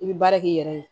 I bɛ baara k'i yɛrɛ ye